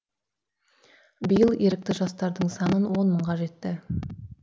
биыл ерікті жастардың санын он мыңға жетті